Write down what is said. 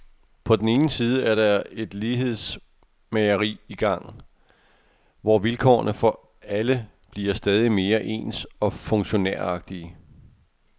På den ene side er der et lighedsmageri i gang, hvor vilkårene for alle bliver stadig mere ens og funktionæragtige.